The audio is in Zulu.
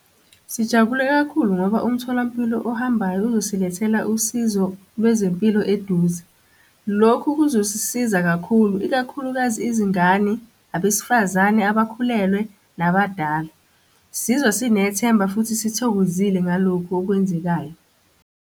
Sijabule kakhulu ngoba umtholampilo ohambayo uzosilethela usizo lwezempilo eduze. Lokhu kuzosisiza kakhulu ikakhulukazi izingane, abesifazane abakhulelwe, nabadala. Sizwa sinethemba futhi sithokozile ngalokhu okwenzekayo.